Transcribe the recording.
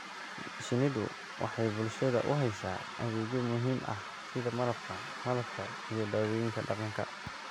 Shinnidu waxay bulshada u haysaa adeegyo muhiim ah sida Malabka, Malabka iyo dawooyinka dhaqanka.